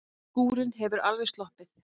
Skúrinn hefur alveg sloppið?